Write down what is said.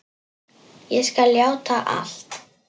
Ég skal játa allt.